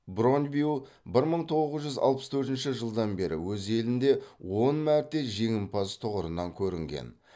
брондбю бір мың тоғыз жүз алпыс төртінші жылдан бері өз елінде он мәрте жеңімпаз тұғырынан көрінген